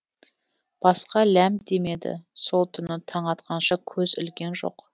басқа ләм демеді сол түні таң атқанша көз ілген жоқ